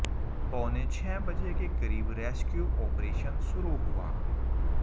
पौने छह बजे के क़रीब रेस्क्यू ऑपरेशन शुरू हुआ